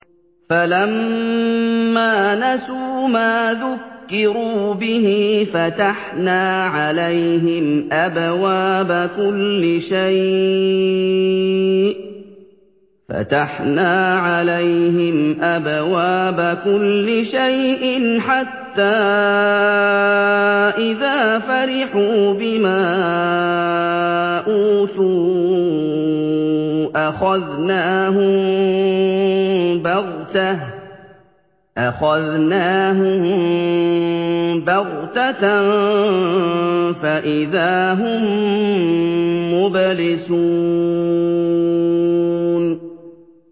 فَلَمَّا نَسُوا مَا ذُكِّرُوا بِهِ فَتَحْنَا عَلَيْهِمْ أَبْوَابَ كُلِّ شَيْءٍ حَتَّىٰ إِذَا فَرِحُوا بِمَا أُوتُوا أَخَذْنَاهُم بَغْتَةً فَإِذَا هُم مُّبْلِسُونَ